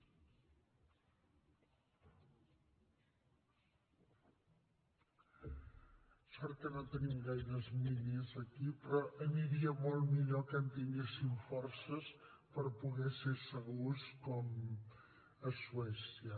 sort que no tenim gaires miners aquí però aniria molt millor que en tinguéssim forces per poder ser segurs com a suècia